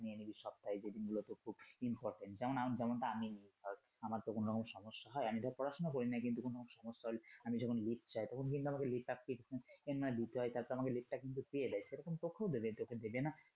নিয়ে নিলি সপ্তাহে যেদিন গুলোতে খুব important যেমনটা আমি নেই ধরো আমার তো কোনরকম সমস্যা হয় আমি ধর পড়াশুনা করিনা কিন্তু কোন সমস্যা হলে আমি যখন leave চাই তখন কিন্তু আমাকে leave ঠিক নিতে হয়, তখন leave টা কিন্তু আমাকে দিয়ে দেয় সেরকম তোকেও দিবে, দেবে না কেন